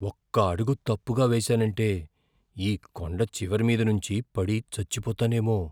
ఒక్క అడుగు తప్పుగా వేసానంటే ఈ కొండచివరి మీద నుంచి పడి చచ్చిపోతానేమో.